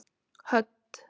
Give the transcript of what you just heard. Hödd